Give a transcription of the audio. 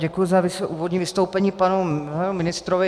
Děkuji za úvodní vystoupení panu ministrovi.